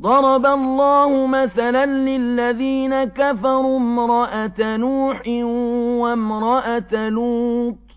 ضَرَبَ اللَّهُ مَثَلًا لِّلَّذِينَ كَفَرُوا امْرَأَتَ نُوحٍ وَامْرَأَتَ لُوطٍ ۖ